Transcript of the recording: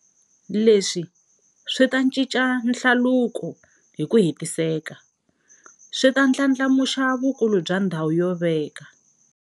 Leswi swi ta cinca hlaluko hi ku hetiseka, swi ta ndlandlamuxa vukulu bya ndhawu yo veka.